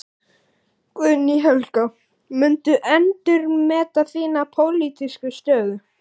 Guðný Helga: Muntu endurmeta þína pólitísku stöðu?